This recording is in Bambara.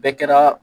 Bɛɛ kɛra